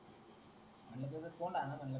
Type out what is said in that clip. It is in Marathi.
कोन दालनार मंडळ